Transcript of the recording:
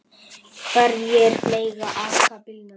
Hverjir mega aka bílnum?